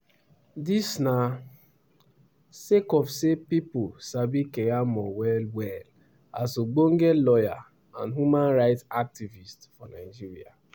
dis na sake of say pipo sabi keyamo well-well as ogbonge lawyer and human right activist for nigeria.